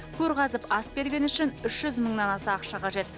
көр қазып ас бергені үшін үш жүз мыңнан аса ақша қажет